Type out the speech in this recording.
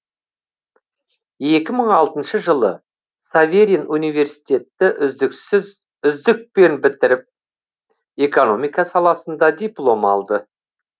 екі мың алтыншы жылы саверин университетті үздікпен бітіріп экономика саласында диплом алды